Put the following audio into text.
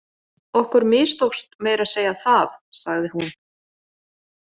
Okkur mistókst meira að segja það, sagði hún.